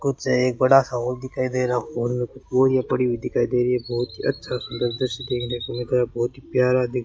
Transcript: कुछ है एक बड़ा सा हॉल दिखाई दे रहा हॉल में बोरियां पड़ी दिखाई दे रही हैं बहोत ही अच्छा सुंदर दृश्य देखने को मिल रहा है बहोत ही प्यारा दिख --